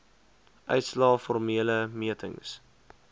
uitslae formele metings